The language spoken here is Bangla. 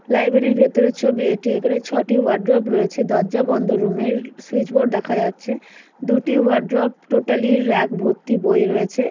লাইব্রেরী র ভেতরের ছবি এটি এখানে ছয়টি ওয়ার্ড্রব রয়েছে দরজা বন্ধ রুম এর সুইচ বোর্ড দেখা যাচ্ছে দুটি ওয়ার্ড্রব টোটালি রাগ ভরতি বই রয়েছে।